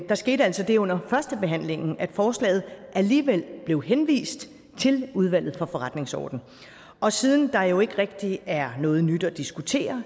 der skete altså det under førstebehandlingen at forslaget alligevel blev henvist til udvalget for forretningsordenen og siden der jo ikke rigtig er noget nyt at diskutere